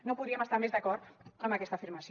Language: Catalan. no podríem estar més d’acord amb aquesta afirmació